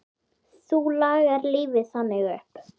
Þú lagðir lífið þannig upp.